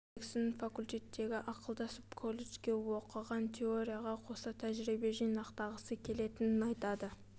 джексон факультеттегі ақылдасып колледжде оқыған теорияға қоса тәжірибе жинақтағысы келетінін айтады